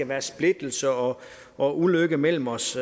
være splittelse og og ulykke imellem os